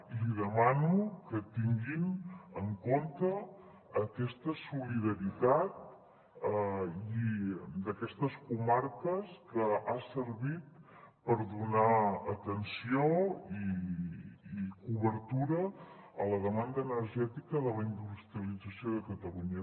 i li demano que tinguin en compte aquesta solidaritat d’aquestes comarques que ha servit per donar atenció i cobertura a la demanda energètica de la industrialització de catalunya